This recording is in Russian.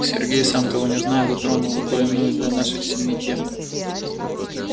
сергей сам того не зная затронул больную для нашей семьи тему